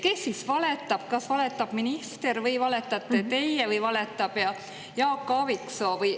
Kes siis valetab: kas valetab minister või valetate teie või valetab Jaak Aaviksoo?